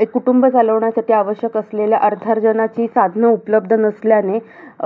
एक कुटुंब चालवण्यासाठी आवश्यक असलेल्या अर्थार्जनाची साधनं उपलब्ध नसल्याने,